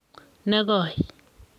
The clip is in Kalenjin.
ne koi